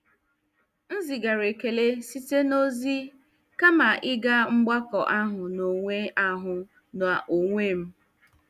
M zigara ekele site na ozi kama ịga mgbakọ ahụ n'onwe ahụ n'onwe m.